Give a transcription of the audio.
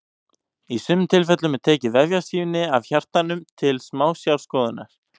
í sumum tilfellum er tekið vefjasýni af hjartanu til smásjárskoðunar